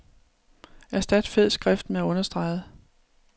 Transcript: Erstat fed skrift med understreget.